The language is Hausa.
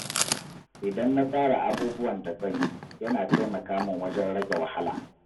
Idan na tsara abubuwan da zan yi, yana taimaka min wajen rage wahala.